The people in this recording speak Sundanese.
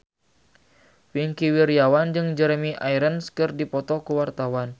Wingky Wiryawan jeung Jeremy Irons keur dipoto ku wartawan